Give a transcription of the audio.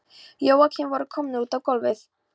Jóakim voru komnir út á gólfið.